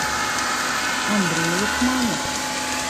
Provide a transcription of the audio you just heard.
андрей лукманов